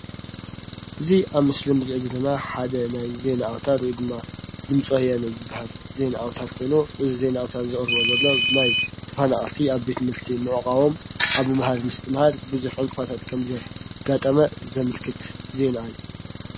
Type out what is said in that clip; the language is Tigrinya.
እዙይ ኣብ ምስሊ እንርአዮ ዘለና ሓደ ናይ ዜና ኣውታር ወይድማ ድምፂ ወያነ ዝባሃል ዜና ኣውታር ኮይኑ እዙይ ዜና ኣውታር ዘቅርበልና ዘሎ ብፍላይ ተፈናቀልቲ ኣብ ቤት ትምህርቲ ምዕቋቦም ኣብ ምምሃር ምስትምሃር ብዙሕ ዕንቅፋታት ከም ዘጋጠመ ዘመልክት ዜና እዩ።